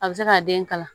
A bɛ se ka den kala